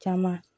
Caman